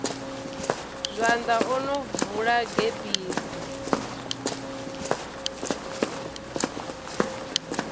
zwanḓa o no bvula gebisi